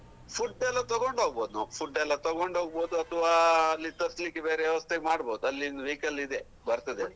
Food ಎಲ್ಲ ತಗೊಂಡು ಹೋಗ್ಬಹುದು ನಾವು food ಎಲ್ಲ ತಗೊಂಡು ಹೋಗ್ಬಹುದು ಅತ್ವಾ ಅಲ್ಲಿ ತರ್ಸಲಿಕೆ ಬೇರೆ ವ್ಯವಸ್ತೆ ಮಾಡ್ಬಹುದು ಅಲ್ಲಿ vehicle ಇದೆ ಬರ್ತದೆ.